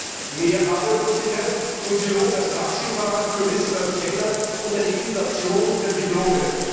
Die Folgen mehr Arbeitslosigkeit, Soziologen als Taxifahrer, Juristen als Kellner und eine Inflation der Diplome.